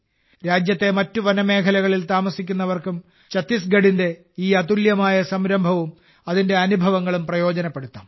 രാജ്യത്തെ മറ്റ് വനമേഖലകളിൽ താമസിക്കുന്നവർക്കും ഛത്തീസ്ഗഡിന്റെ ഈ അതുല്യമായ സംരംഭവും അതിന്റെ അനുഭവങ്ങളും പ്രയോജനപ്പെടുത്താം